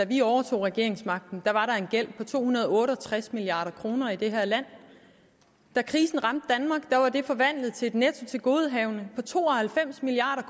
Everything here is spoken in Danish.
vi overtog regeringsmagten var der en gæld på to hundrede og otte og tres milliard kroner i det her land da krisen ramte danmark var den forvandlet til et nettotilgodehavende på to og halvfems milliard